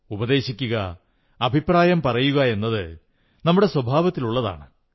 ഉപദേശിക്കുക അഭിപ്രായം പറയുക എന്നത് നമ്മുടെ സ്വഭാവത്തിലുള്ളതാണ്